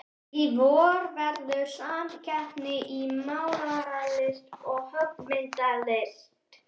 Í vor verður hér samkeppni í málaralist og höggmyndalist.